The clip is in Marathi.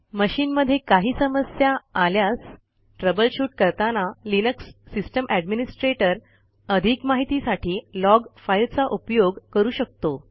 मशीनमध्ये काही समस्या आल्यास ट्रबल शूट करताना लिनक्स सिस्टम एडमिनिस्ट्रेटर अधिक माहितीसाठी लॉग फाईलचा उपयोग करू शकतो